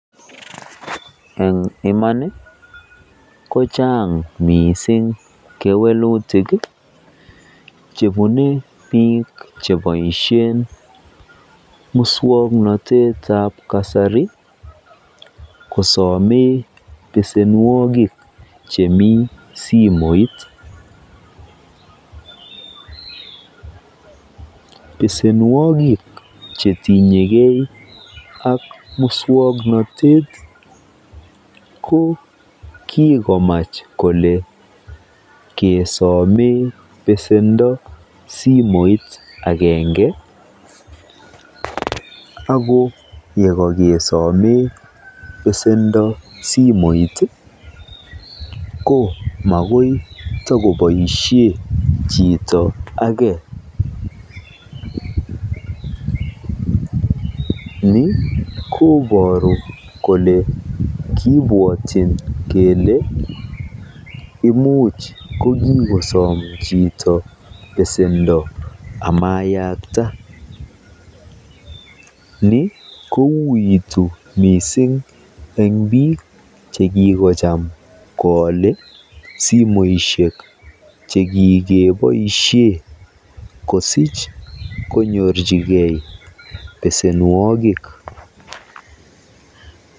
Eng iman kochang missing kewelutik chebune biik cheboisien muswoknotetab kasari kosomen besenwiogik chemi simoit, besenwogik chetinyegee ak muswoknotet koo kikomach kole kesomen besendo simoit agenge akoo yekokesome besendo simoit ii koo mokoi kotokosomen chito ageeni koboru kole kibwatyin kele imuch kokikosom chito besendoo amayakta ni kouitu missing eng biik chekikocham koale simoisiek chekikeboisien kosir konyorchike besenwogik.